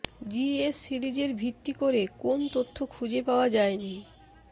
GS series এর ভিত্তি ভিত্তি করে কোন তথ্য খুঁজে পাওয়া যায় নি